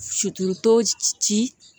ci